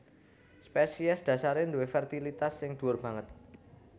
Spesies dhasaré duwé fertilitas sing dhuwur banget